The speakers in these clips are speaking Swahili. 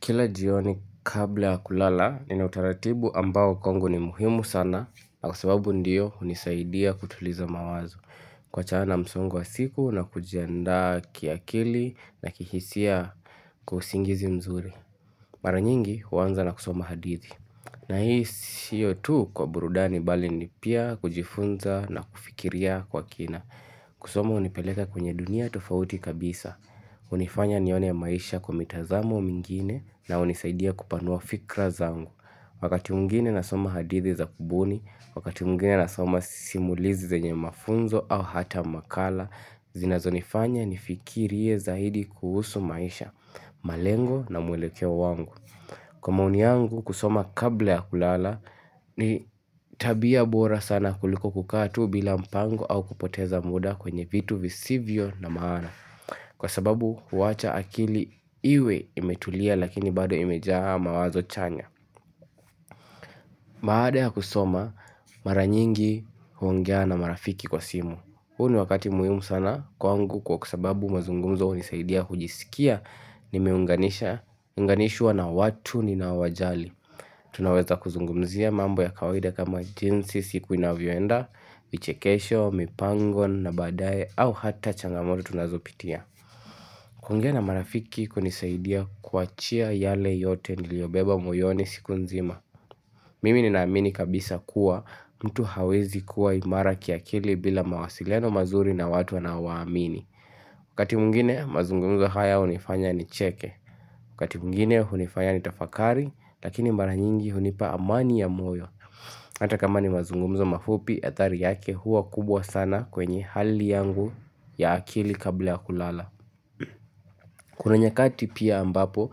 Kila jioni kabla ya kulala nina utaratibu ambao kwangu ni muhimu sana na kusababu ndiyo hunisaidia kutuliza mawazo kuwachana na msongo wa siku na kujianda kiakili na kihisia kwa usingizi mzuri. Mara nyingi huanza na kusoma hadithi. Na hii siyo tu kwa burudani bali ni pia kujifunza na kufikiria kwa kina. Kusoma unipeleka kwenye dunia tofauti kabisa, unifanya nione maisha kwa mitazamo mingine na unisaidia kupanua fikra zangu. Wakati mwingine nasoma hadithi za kubuni, wakati mwingine nasoma simulizi zenye mafunzo au hata makala, zinazonifanya nifikirie zaidi kuhusu maisha, malengo na mwelekeo wangu. Kwa maoni yangu kusoma kabla ya kulala ni tabia bora sana kuliko kukaa tu bila mpango au kupoteza muda kwenye vitu visivyo na maana. Kwa sababu huwacha akili iwe imetulia lakini bado imejaa mawazo chanya Baada ya kusoma mara nyingi huongea na marafiki kwa simu. Huu ni wakati muhimu sana kwangu kwa sababu mazungumzo hunisaidia kujisikia nimeunganisha unganishwa na watu ninao wajali Tunaweza kuzungumzia mambo ya kawaida kama jinsi siku inavyoenda, vichekesho, mipango, na baadaye au hata changamoto tunazopitia. Kuongea na marafiki kunisaidia kuachia yale yote niliyobeba moyoni siku nzima. Mimi ninaamini kabisa kuwa mtu hawezi kuwa imara kiakili bila mawasiliano mazuri na watu wanaowaamini. Wakati mwingine mazungumzo haya hunifanya nicheke. Wakati mwingine hunifanya nitafakari lakini mara nyingi hunipa amani ya moyo Hata kama ni mazungumzo mafupi athari yake huwa kubwa sana kwenye hali yangu ya akili kabla ya kulala Kuna nyakati pia ambapo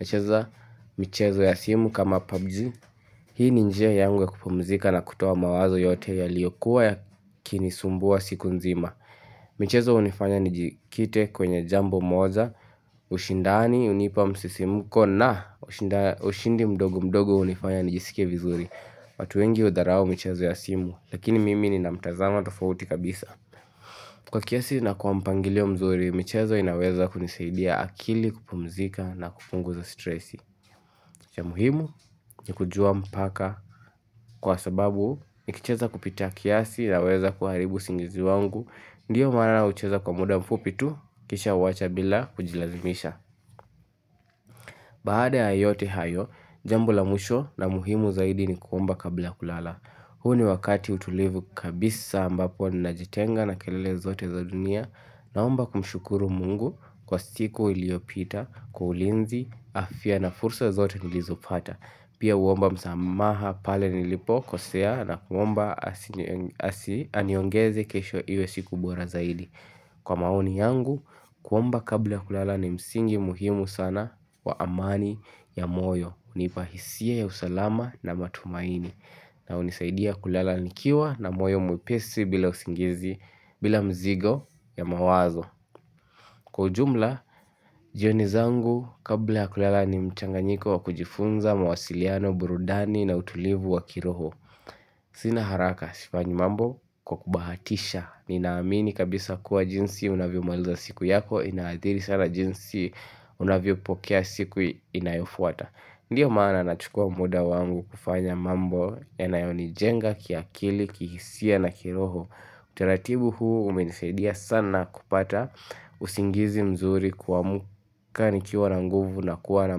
nacheza michezo ya simu kama PUBG. Hii ni njia yangu ya kupumzika na kutoa mawazo yote yaliyokuwa yakini sumbua siku nzima michezo hunifanya nijikite kwenye jambo moja, ushindani hunipa msisimuko na ushinda ushindi mdogo mdogo hunifanya nijiskie vizuri watu wengi hudharau michezo ya simu, lakini mimi nina mtazamo tofauti kabisa. Kwa kiasi na kwa mpangilio mzuri, michezo inaweza kunisaidia akili kupumzika na kupunguza stresi. Ya muhimu ni kujua mpaka kwa sababu nikicheza kupita kiasi naweza kuharibu usingizi wangu Ndiyo maana naucheza kwa muda mfupi tu kisha huwacha bila kujilazimisha Baada ya yote hayo, jambo la mwisho na muhimu zaidi ni kuomba kabla kulala. Huu ni wakati utulivu kabisa ambapo najitenga na kelele zote za dunia Naomba kumshukuru mungu kwa siku iliyopita, kwa ulinzi, afya na fursa zote nilizopata. Pia huomba msamaha pale nilipokosea na kuomba asi aniongeze kesho iwe siku bora zaidi. Kwa maoni yangu, kuomba kabla kulala ni msingi muhimu sana wa amani ya moyo. Hunipa hisia ya usalama na matumaini na hunisaidia kulala nikiwa na moyo mwepesi bila usingizi bila mzigo ya mawazo Kwa ujumla, jioni zangu kabla ya kulala ni mchanganyiko wa kujifunza mawasiliano, burudani na utulivu wa kiroho Sina haraka, sifanyi mambo kwa kubahatisha. Ninaamini kabisa kuwa jinsi unavyomaliza siku yako inaathiri sana jinsi unavyopokea siku inayofuata. Ndiyo maana nachukua muda wangu kufanya mambo yanayo nijenga kiakili, kihisia na kiroho Utaratibu huu umenisaidia sana kupata usingizi mzuri kuamka nikiwa na nguvu na kuwa na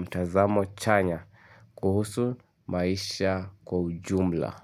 mtazamo chanya kuhusu maisha kwa ujumla.